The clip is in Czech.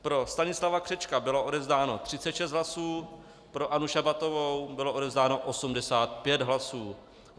Pro Stanislava Křečka bylo odevzdáno 36 hlasů, pro Annu Šabatovou bylo odevzdáno 85 hlasů.